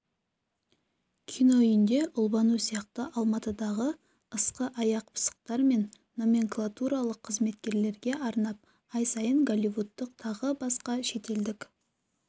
кино үйінде ұлбану сияқты алматыдағы ысқы аяқ пысықтар мен номенклатуралық қызметкерлерге арнап ай сайын голливудтық тағы басқа шетелдік